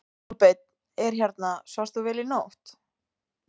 Kolbeinn: Er hérna, svafst þú vel í nótt?